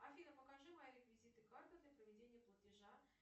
афина покажи мои реквизиты карты для проведения платежа